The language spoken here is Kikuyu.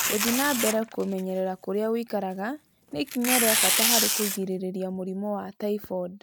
Gũthiĩ na mbere kũmenyerera kũrĩa ũikaraga nĩ ikinya rĩa bata harĩ kũgirĩrĩria mũrimũ wa typhoid